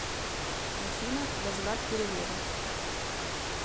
афина возврат перевода